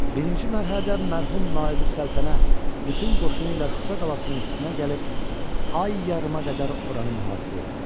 Birinci mərhələdə mərhum Naibüssəltənə bütün qoşunu ilə Şuşa qalasının üstünə gəlib ay yarıma qədər oranı mühasirə etdi.